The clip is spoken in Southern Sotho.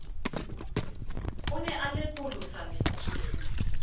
o ne a lepolosa lentswe